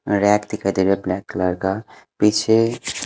rack दिखाई दे रहा है ब्लैक कलर का पीछे --